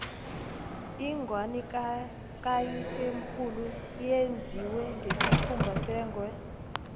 ingwani kayisemkhulu yenziwe ngesikhumba sengwe